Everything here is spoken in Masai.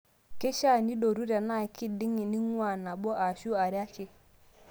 Keishaa nidotu tenaa kiding' ning'uaa nabo ashuu are ake.